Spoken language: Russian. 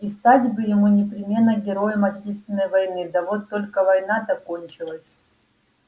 и стать бы ему непременно героем отечественной войны да вот только война-то кончилась